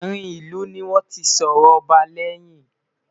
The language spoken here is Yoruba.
àrin ilu ní wọn tí sòrò ọba leyin